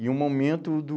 E o momento do...